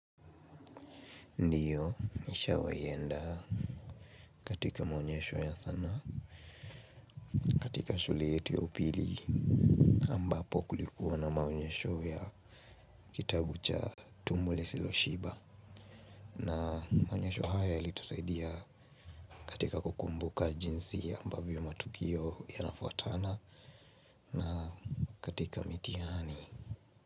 Ndio nishawai enda katika maonyesho ya sanaa katika shule yetu ya upili ambapo kulikuwa na maonyesho ya kitabu cha tumbo lisilo shiba. Na maonyesho haya yali tusaidia katika kukumbuka jinsi ambavyo matukio ya nafuatana. Na katika mitiani.